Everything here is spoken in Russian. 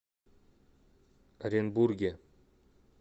оренбурге